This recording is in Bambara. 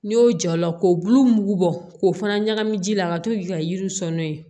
N'i y'o ja o la k'o bulu mugu bɔ k'o fana ɲagami ji la a ka to k'i ka yiriw sɔn n'o ye